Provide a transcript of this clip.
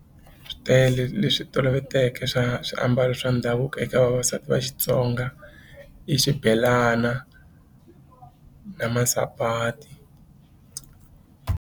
Swi tele leswi toloveteke swa swiambalo swa ndhavuko eka vavasati va Xitsonga i xibelana na masapati.